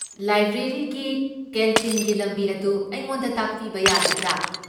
ꯂꯥꯏꯕ꯭ꯔꯦꯔꯤꯒꯤ ꯀꯦꯟꯇꯤꯟꯒꯤ ꯂꯝꯕꯤ ꯑꯗꯨ ꯑꯩꯉꯣꯟꯗ ꯇꯥꯛꯄꯤꯕ ꯌꯥꯒꯗ꯭ꯔꯥ?